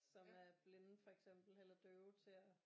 Som er blinde for eksempel eller døve til at